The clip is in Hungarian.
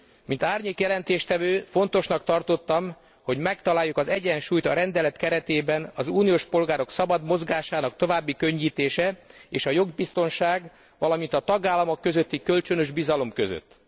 Mint árnyék jelentéstevő fontosnak tartottam, hogy megtaláljuk az egyensúlyt a rendelet keretében az uniós polgárok szabad mozgásának további könnyítése és a jogbiztonság, valamint a tagállamok közötti kölcsönös bizalom között.